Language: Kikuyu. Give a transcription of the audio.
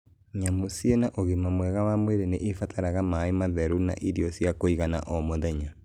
Nyamũ cina ũgima mwega wa mwĩrĩ nĩ ibataraga maĩ matheru na irio cia kũigana o mũthenya.